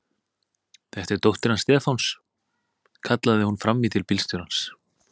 Þetta er dóttir hans Stefáns! kallaði hún fram í til bílstjórans.